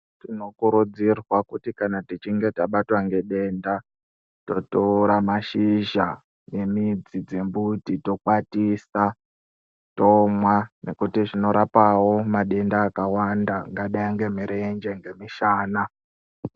Tino kurudzirwa kuti kana tichinge tabatwa nge denda to tora mashizha ne midzi dze mbuti to kwatisa tomwa nekuti zvino rapawo madenda akawanda angadai nge mirenje nge mushana.